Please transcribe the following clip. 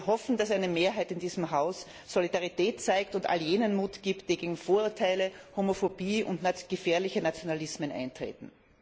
Wir hoffen, dass eine Mehrheit in diesem Haus Solidarität zeigt und all jenen Mut gibt, die gegen Vorurteile, Homophobie und gefährliche Nationalismen eintreten.